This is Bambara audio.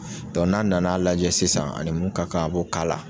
n'a nana a lajɛ sisan ani mun ka kan a b'o k'a la.